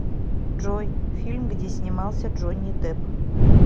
джой фильм где снимался джони депп